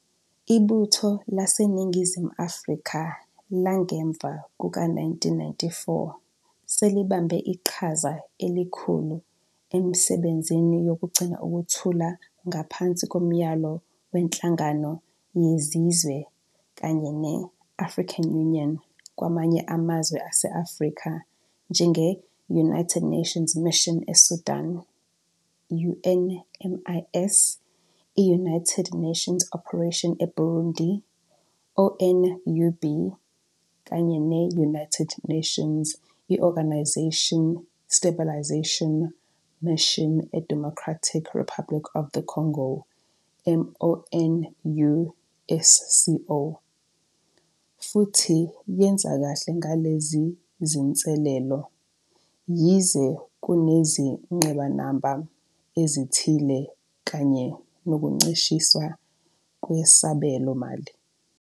Ibutho laseNingizimu Afrika langemva kuka-1994 selibambe iqhaza elikhulu emisebenzini yokugcina ukuthula ngaphansi komyalo weNhlangano Yezizwe kanye ne- African Union kwamanye amazwe ase-Afrika njenge- United Nations Mission eSudan, UNMIS, i- United Nations Operation eBurundi, ONUB, kanye ne- United Nations I-Organisation Stabilization Mission eDemocratic Republic of the Congo, MONUSCO, futhi yenza kahle ngalezi zinselelo, yize kunezingqinamba ezithile kanye nokuncishiswa kwesabelomali.